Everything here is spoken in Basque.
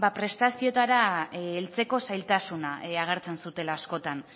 prestazioetara heltzeko zailtasuna agertzen zutela askotan